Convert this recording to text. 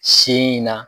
Sin in na